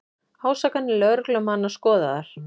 Ásakanir lögreglumanna skoðaðar